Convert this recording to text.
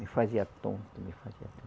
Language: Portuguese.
Me fazia tonto, me fazia